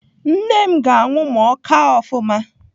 Nne m ga-anwụ ma ọ kaa ofụma.